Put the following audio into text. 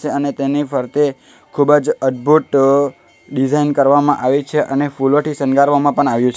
અને તેની ફરતે ખૂબ જ અદભુત ડિઝાઇન કરવામાં આવી છે અને ફૂલોથી શનગારવામાં પણ આવ્યું છે.